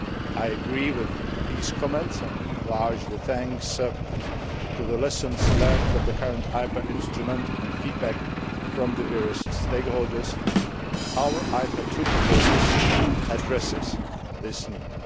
I agree with these comments and, largely thanks to the lessons learned from the current IPA instrument and feedback from the various stakeholders, our IPA II proposal addresses this need.